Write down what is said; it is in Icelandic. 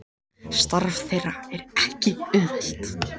Starf þeirra er ekki auðvelt